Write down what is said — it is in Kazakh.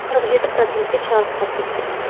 қырық жеті процентке шарықтап кеткен